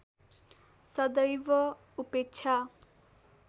सदैव उपेक्षा